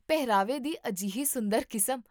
ਪਹਿਰਾਵੇ ਦੀ ਅਜਿਹੀ ਸੁੰਦਰ ਕਿਸਮ